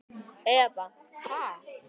Eva: Ha?